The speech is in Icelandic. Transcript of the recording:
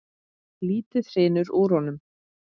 Lítið hrynur úr honum.